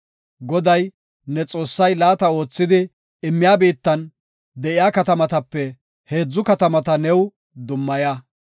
Goday, ne Xoossay laata oothidi immiya biittan de7iya katamatape heedzu katamata new dummaya.